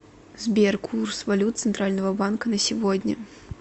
сбер курс валют центрального банка на сегодня